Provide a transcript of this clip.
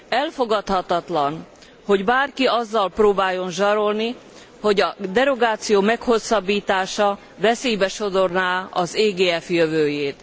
Elfogadhatatlan, hogy bárki azzal próbáljon zsarolni, hogy a derogáció meghosszabbítása veszélybe sodorná az EGF jövőjét.